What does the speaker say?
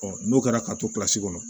n'o kɛra ka to kilasi kɔnɔ